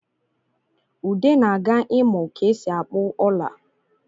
Ude na-aga imụ ka e si akpụ ọla